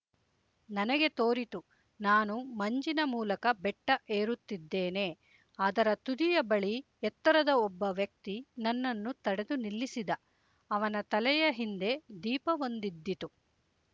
ನನಗೆ ತೋರಿತು ನಾನು ಮಂಜಿನ ಮೂಲಕ ಬೆಟ್ಟ ಏರುತ್ತಿದ್ದೇನೆ ಅದರ ತುದಿಯ ಬಳಿ ಎತ್ತರದ ಒಬ್ಬ ವ್ಯಕ್ತಿ ನನ್ನನ್ನು ತಡೆದು ನಿಲ್ಲಿಸಿದ ಅವನ ತಲೆಯ ಹಿಂದೆ ದೀಪವೊಂದಿದ್ದಿತು